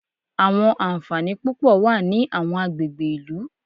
Àwọn ànfàní púpọ̀ wà ní àwọn agbègbè ìlú.